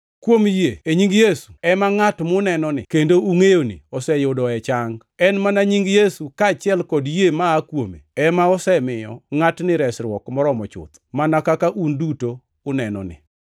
Kuom yie e nying Yesu, ema ngʼat munenoni kendo ungʼeyoni oseyudoe chang. En mana nying Yesu, kaachiel kod yie maa kuome, ema osemiyo ngʼatni resruok moromo chuth, mana kaka un duto unenoni.